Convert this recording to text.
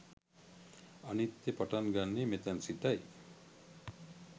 අනිත්‍ය පටන් ගන්නේ මෙතැන් සිටයි